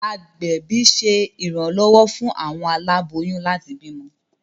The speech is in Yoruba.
Agbẹbi ṣe iranlọwọ fún awọn aláboyún láti bímọ